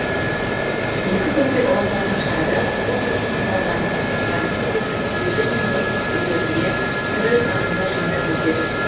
екі күнге ұласатын шарада қуғын сүргін құрбандарының ұрпақтарымен кездесіп музейлер мен достық үйлерінде түрлі танымдық жиындар өтеді